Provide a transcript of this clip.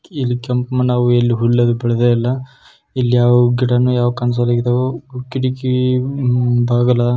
ಇಲ್ಲಿ ಕೆಂಪ್ ಮಣ್ಣ್ ಆವು ಎಲ್ಲಿ ಹುಲ್ಲು ಅದ್ವೆ ಬೆಳೆದೆ ಇಲ್ಲ. ಇಲ್ಲಿ ಯಾವ್ ಗಿಡನು ಯಾವ್ ಕನಸಲ್ಲಿದಾವೋ ಕಿಡಕಿ ಬಾಗಲ--